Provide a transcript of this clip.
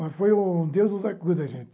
Mas foi o Deus nos acuda, gente.